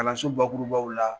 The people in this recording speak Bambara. Kalanso bakurubaw la